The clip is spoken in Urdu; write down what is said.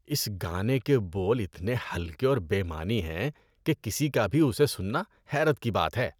اس گانے کے بول اتنے ہلکے اور بے معنی ہیں کہ کسی کا بھی اسے سننا حیرت کی بات ہے۔